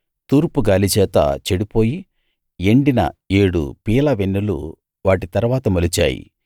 తూర్పు గాలిచేత చెడిపోయి ఎండిన ఏడు పీలవెన్నులు వాటి తరువాత మొలిచాయి